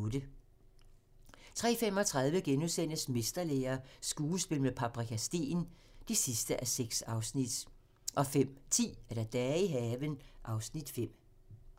03:35: Mesterlære - skuespil med Paprika Steen (6:6)* 05:10: Dage i haven (Afs. 5)